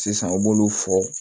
Sisan u b'olu fɔ